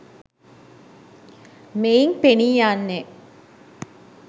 මෙයින් පෙනී යන්නේ